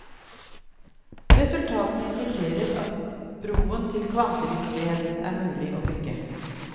Resultatene indikerer at broen til kvantevirkeligheten er mulig å bygge.